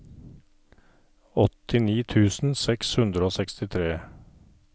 åttini tusen seks hundre og sekstitre